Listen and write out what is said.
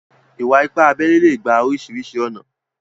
Ìwà-ìpà àbèlè lè gbà orísiríṣi ọ̀nà.